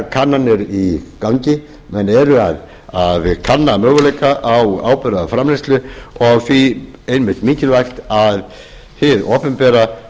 kannanir í gangi menn eru að kanna möguleika á áburðarframleiðslu og því einmitt mikilvægt að hið opinbera